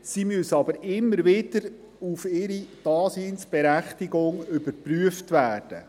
Sie müssen aber immer wieder auf ihre Daseinsberechtigung überprüft werden.